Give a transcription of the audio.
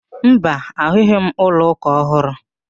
Mba, ahụghị m ụlọ ụka ọhụrụ